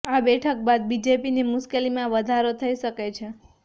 આ બેઠક બાદ બીજેપીની મુશ્કેલીમાં વધારે થઈ શકે છે